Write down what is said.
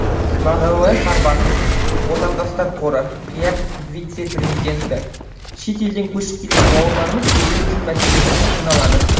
мағауия сарбасов отандастар қоры кеақ вице президенті шет елден көшіп келген бауырларымыз көбіне тіл мәселесімен қиналады